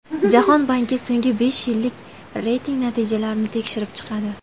Jahon banki so‘nggi besh yillik reyting natijalarini tekshirib chiqadi.